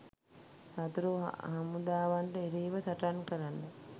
සතුරු හමුදාවන්ට එරෙහිව සටන් කරන්ඩ